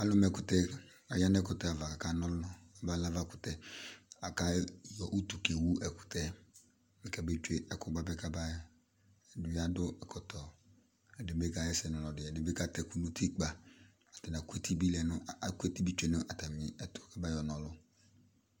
Alʋ ma ɛkʋtɛ, aya nʋ ɛkʋtɛ ava, kʋ akana ɔlʋ, ba nʋ avakʋtɛ, ayɔ utu kewu ɛkʋtɛ yɛ, bɩ kabetsue ɛkʋ bɩ kabaɣa, ɛdɩnɩ adʋ ɛkɔtɔ, ɛdɩ bɩ kaɣa ɛsɛ nʋ ɔlɔdɩ, ɛdɩ bɩ katɛ ɛkʋ nʋ utikpǝ, atanɩ akʋ eti bɩ tsue nʋ atamɩ ɛtʋ, kabayɔna ɔlʋ